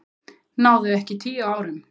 Náðu ekki tíu árum